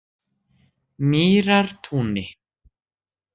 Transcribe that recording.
Mýrartúni